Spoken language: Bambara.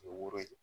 Woro ye